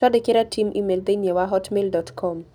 Twandĩkĩre Tim e-mail thĩinĩ wa hotmail dot com